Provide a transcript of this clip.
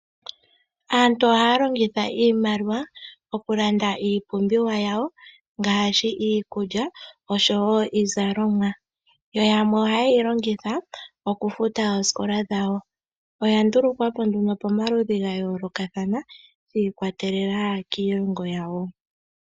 Aantu ohaya longitha iimaliwa okulanda iipumbiwa yawo, ngaashi iikulya, oshowo iizalomwa, yo yamwe ohayeyi longitha okufuta oosikola dhawo. Oya ndulukwapo nduno pamaludhi gayoolokathana, shi ikwatelela kiilongo.